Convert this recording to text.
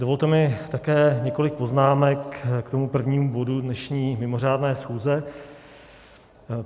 Dovolte mi také několik poznámek k tomu prvnímu bodu dnešní mimořádné schůze.